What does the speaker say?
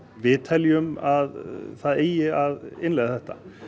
við teljum að það eigi að innleiða þetta